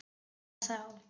Hvað þá!